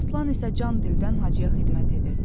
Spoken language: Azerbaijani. Aslan isə can dildən Hacıya xidmət edirdi.